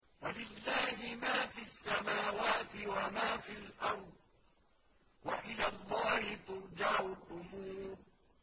وَلِلَّهِ مَا فِي السَّمَاوَاتِ وَمَا فِي الْأَرْضِ ۚ وَإِلَى اللَّهِ تُرْجَعُ الْأُمُورُ